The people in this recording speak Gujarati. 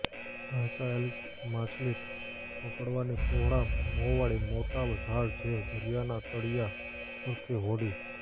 વહેંચાયેલ માછલી પકડવાની પહોળા મોંવાળી મોટી જાળ જે દરિયાના તળિયા પરથી હોડી